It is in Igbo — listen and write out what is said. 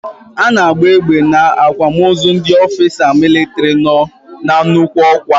A na agba egbe n'akwamozu ndị ofisa militri no n'nnukwu okwa